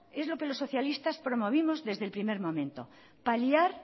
es lo que los socialistas promovimos desde el primer momento paliar